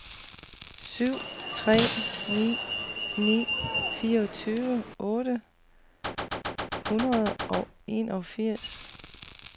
syv tre ni ni fireogfyrre otte hundrede og enogfirs